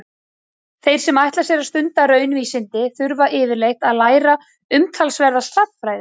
Þeir sem ætla sér að stunda raunvísindi þurfa yfirleitt að læra umtalsverða stærðfræði.